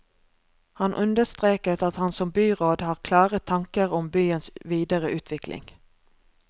Han understreket at han som byråd har klare tanker om byens videre utvikling.